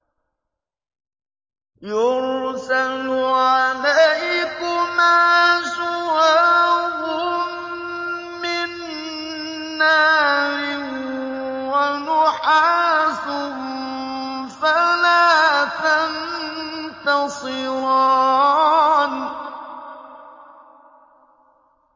يُرْسَلُ عَلَيْكُمَا شُوَاظٌ مِّن نَّارٍ وَنُحَاسٌ فَلَا تَنتَصِرَانِ